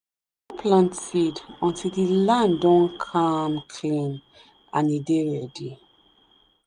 no plant seed until the land don calm clean and e dey ready.